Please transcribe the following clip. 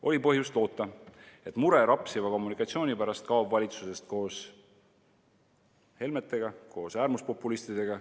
Oli põhjust loota, et mure rapsiva kommunikatsiooni pärast kaob valitsusest koos Helmetega, koos äärmuspopulistidega.